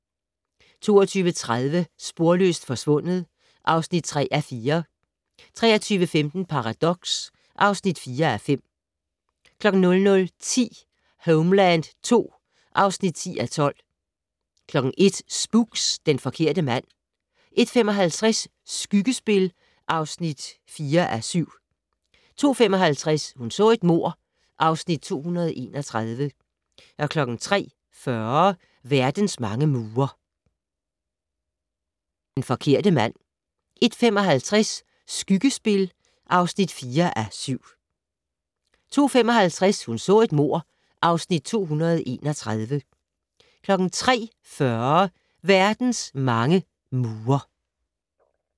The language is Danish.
22:30: Sporløst forsvundet (3:4) 23:15: Paradox (4:5) 00:10: Homeland II (10:12) 01:00: Spooks: Den forkerte mand 01:55: Skyggespil (4:7) 02:55: Hun så et mord (Afs. 231) 03:40: Verdens mange mure